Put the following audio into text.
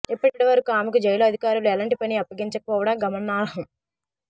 ఇప్పటి వరకు ఆమెకు జైలు అధికారులు ఎలాంటి పని అప్పగించక పోవడం గమనార్హం